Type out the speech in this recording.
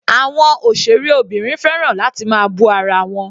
Àwọn òṣèré obìnrin fẹ́ràn láti máa bú ara wọn.